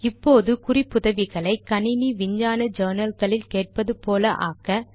இப்போது குறிப்புதவிகளை கணினி விஞ்ஞான journalகளில் கேட்பது போல ஆக்க